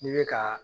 N'i bɛ ka